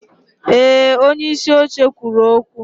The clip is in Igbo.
Ee, onyeisi oche kwuru okwu.